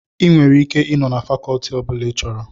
Ị nwere ike ị nọ na fakọtị ọbụla ị chọrọ